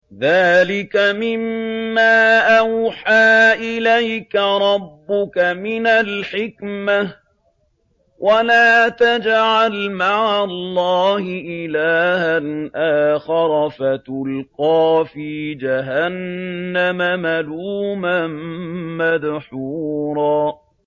ذَٰلِكَ مِمَّا أَوْحَىٰ إِلَيْكَ رَبُّكَ مِنَ الْحِكْمَةِ ۗ وَلَا تَجْعَلْ مَعَ اللَّهِ إِلَٰهًا آخَرَ فَتُلْقَىٰ فِي جَهَنَّمَ مَلُومًا مَّدْحُورًا